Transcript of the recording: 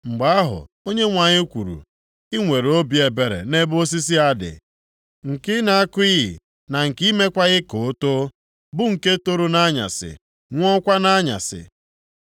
Mgbe ahụ Onyenwe anyị kwuru, “I nwere obi ebere nʼebe osisi a dị, nke ị na-akụghị na nke i mekwaghị ka o too, bụ nke toro nʼanyasị, nwụọkwa nʼanyasị.